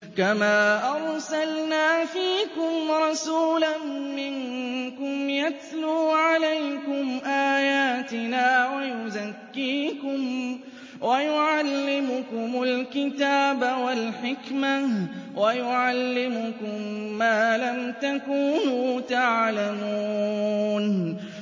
كَمَا أَرْسَلْنَا فِيكُمْ رَسُولًا مِّنكُمْ يَتْلُو عَلَيْكُمْ آيَاتِنَا وَيُزَكِّيكُمْ وَيُعَلِّمُكُمُ الْكِتَابَ وَالْحِكْمَةَ وَيُعَلِّمُكُم مَّا لَمْ تَكُونُوا تَعْلَمُونَ